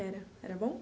Era era bom?